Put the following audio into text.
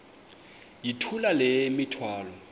yithula le mithwalo